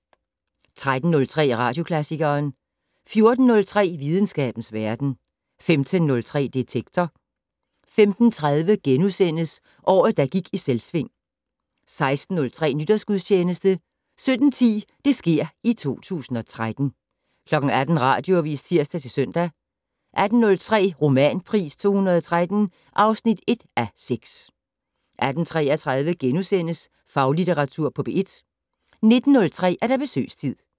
13:03: Radioklassikeren 14:03: Videnskabens verden 15:03: Detektor 15:30: Året, der gik i Selvsving * 16:03: Nytårsgudstjeneste 17:10: Det sker i 2013 18:00: Radioavis (tir-søn) 18:03: Romanpris 2013 (1:6) 18:33: Faglitteratur på P1 * 19:03: Besøgstid